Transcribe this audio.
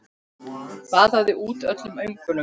Baðaði út öllum öngum.